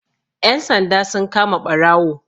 Ƴan sanda sun kama ɓarawo